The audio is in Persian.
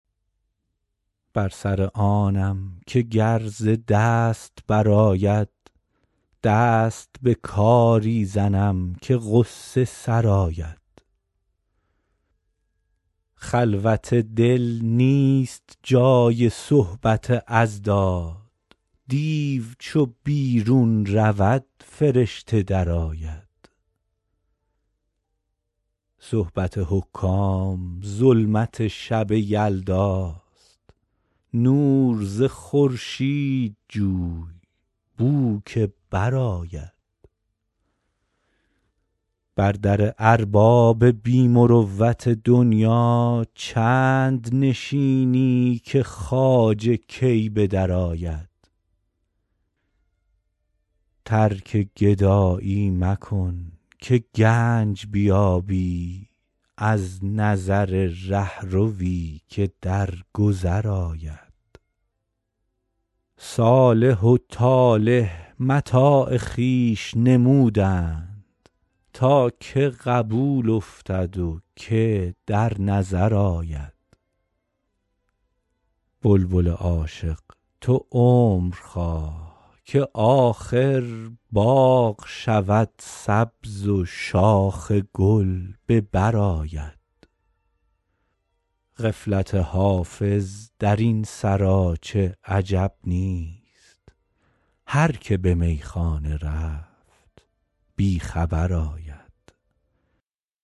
بر سر آنم که گر ز دست برآید دست به کاری زنم که غصه سرآید خلوت دل نیست جای صحبت اضداد دیو چو بیرون رود فرشته درآید صحبت حکام ظلمت شب یلداست نور ز خورشید جوی بو که برآید بر در ارباب بی مروت دنیا چند نشینی که خواجه کی به درآید ترک گدایی مکن که گنج بیابی از نظر رهروی که در گذر آید صالح و طالح متاع خویش نمودند تا که قبول افتد و که در نظر آید بلبل عاشق تو عمر خواه که آخر باغ شود سبز و شاخ گل به بر آید غفلت حافظ در این سراچه عجب نیست هر که به میخانه رفت بی خبر آید